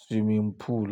swimming pool.